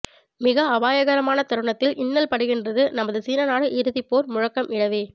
மிக அபாயகரமான தருணத்தில் இன்னல்படுகின்றது நமது சீன நாடு இறுதிப்போர் முழக்கம் இடவே